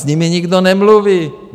S nimi nikdo nemluví.